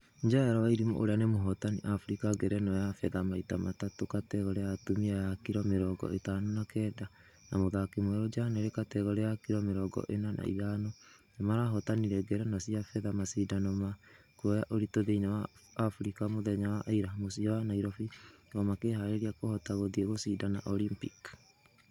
jael wairimu ũria ni mohotani africa ngerenwa ya fedha maita matatũ kategore ya atumia ya kiro mirongo ithano na kenda na mũthaki mwerũ janely kategore ya kiro mirongo ĩna na ithano nĩmarahotanire ngerenwa cia fedha mashidano ma kũoya ũritu thĩini wa africa mũthenya wa ĩra mũciĩ wa nairobi o makehareria kũhota gũthie gũshidana Olympic